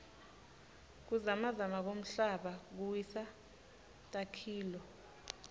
kuzamazama kwemhlaba kuwisa takhiloo